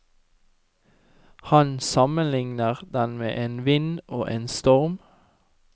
Han sammenligner den med en vind og en storm.